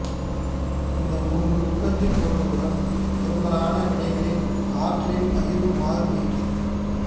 இந்த மூன்று உற்பத்திப் பொருள்களுடன் பெரும்பாலான வினைகளில் ஆற்றலின் பகிர்வு மாறுபடுகிறது